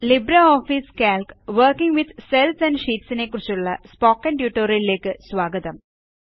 LibreOffice Calc working with cells and sheet നെക്കുറിച്ചുള്ള spoken ട്യൂട്ടോറിയലിലേയ്ക്ക് സ്വാഗതം